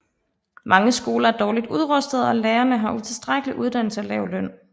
Mange skoler er dårligt udrustede og lærerne har utilstrækkelig uddannelse og lav løn